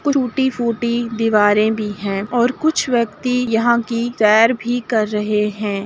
टूटी फूटी दीवारे भी हैं और कुछ व्यक्ति यहाँ की सैर भी कर रहे हैं।